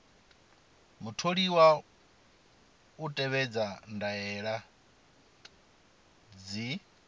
mutholiwa u tevhedza ndaela dzi